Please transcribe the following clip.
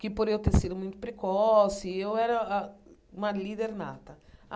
que, por eu ter sido muito precoce, eu era a uma líder nata.